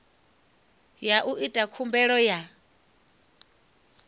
ya u ita khumbelo ya